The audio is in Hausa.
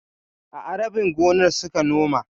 A'a, rabin gonar suka noma.